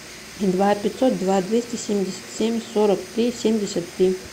два пятьсот два двести семьдесят семь сорок три семьдесят три